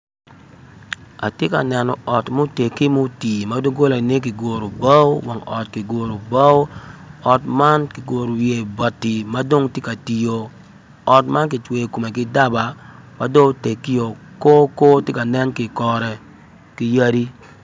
Atye neno ot muteggi mutii ma doggolane kiguro bao wang ot kiguro bao ot man kiguro wiye bati ma dong tye ka tii-o ot man kicweyo kome ki daba ma dong oteggio ko ko tye ka nen i kore ki yadi